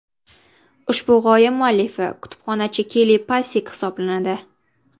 Ushbu g‘oya muallifi kutubxonachi Kelli Passek hisoblanadi.